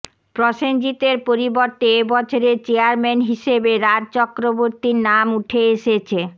প্রসেনজিতের পরিবর্তে এবছরে চেয়ারম্যান হিসেবে রাজ চক্রবর্তীর নাম উঠে এসেছে